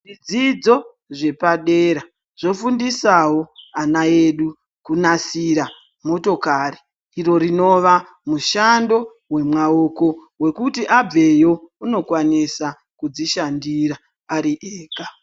Zvidzidzo zvepadera zvinofundisawo vana vedu kusanganisira motokari dzinozoita mishando wemaoko wekuti abveyo anokwanisa kudzishandira Ari ega.